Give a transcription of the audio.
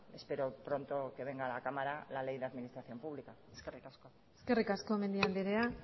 espero pronto que venga a la cámara la ley de administración pública eskerrik asko eskerrik asko mendia andrea